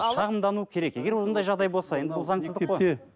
шағымдану керек егер ондай жағдай болса енді бұл заңсызды қой